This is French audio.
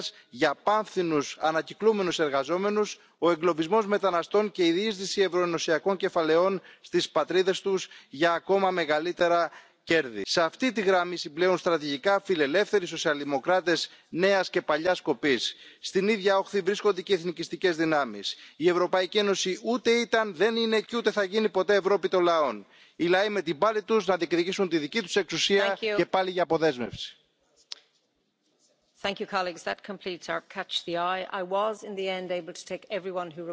Vous vous gargarisez avec les solidarités européennes, mais depuis 15 ans, à cause des règles de l'Union, votre pays a commis les pires actes de piraterie fiscale contre ses partenaires. Dans le scandale de LuxLeaks, votre culpabilité est avérée. Stop à la désunion européenne. Je suis contre un Frexit, mais aussi contre votre utopie des États Unis d'Europe. Les Européens ne veulent plus subir l'africanisation programmée de l'Europe, le terrorisme islamiste, le mondialisme et le pillage de leurs impôts par les multinationales et les GAFAM Il faut une alliance européenne des nations indépendantes, qui protège réellement les peuples. Nous la ferons!